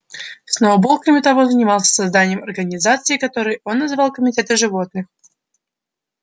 сноуболл кроме того занимался созданием организаций которые он называл комитеты животных